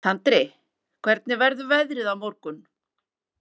Tandri, hvernig verður veðrið á morgun?